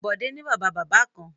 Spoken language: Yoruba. Bọ̀dé ni Bàbá-bàbá kan.